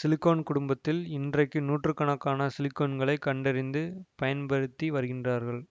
silicone குடும்பத்தில் இன்றைக்கு நூற்று கணக்கான சிலிகோன்களைக் கண்டறிந்து பயன்படுத்தி வருகின்றார்கள்